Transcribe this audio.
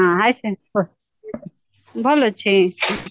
ହୁଁ hye ଭଲ ଅଛି